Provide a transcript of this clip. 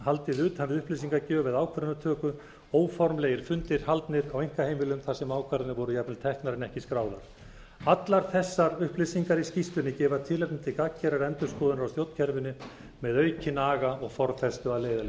haldið utan við upplýsingagjöf eða ákvarðanatöku óformlegir fundir haldnir á einkaheimilum þar sem ákvarðanir voru jafnvel teknar en ekki skráðar allar þessar upplýsingar í skýrslunni gefa tilefni til gagngerðrar endurskoðunar á stjórnkerfinu með aukinn aga og ofþenslu að